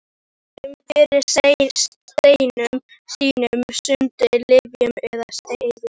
Stundum fyrir steinum sínum, stundum lyfjum eða seyði.